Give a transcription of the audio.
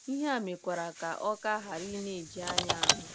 Ihe a mekwara ka ọ ka ọ ghara ịna - eji anya ahụ m.